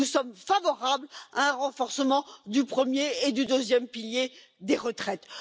Nous sommes favorables à un renforcement du premier et du deuxième piliers des retraites.